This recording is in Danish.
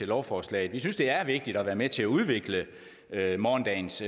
lovforslaget vi synes det er vigtigt at være med til at udvikle morgendagens